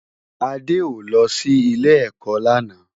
Ade ó lò si Ilé-èkò làná